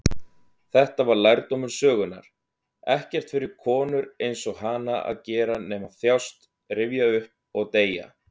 Þetta var lærdómur sögunnar: ekkert fyrir konur-einsog-hana að gera nema þjást, rifja upp, og deyja.